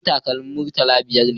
Kudin takalmin murtala biyar ne